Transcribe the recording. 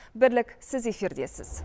бірлік сіз эфирдесіз